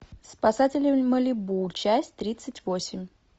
спасатели малибу часть тридцать восемь